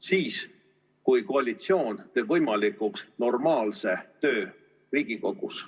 Siis, kui koalitsioon teeb võimalikuks normaalse töö Riigikogus.